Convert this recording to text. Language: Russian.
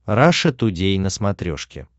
раша тудей на смотрешке